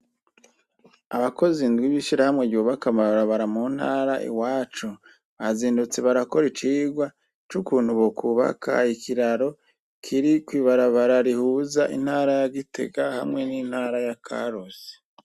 Abakozi indwi b'ishirahamwe ryubaka amabarabara mu ntara iwacu, bazindutse barakora icigwa c'ukuntu bokubaka ikiraro kiri kw'ibarabara rihuza intara ya Gitega hamwe n'intara ya Karusi.